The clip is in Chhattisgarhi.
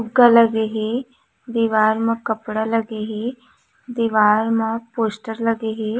फुग्गा लगे हे दीवार म कपड़ा लगे हे दीवार म पोस्टर लगे हे।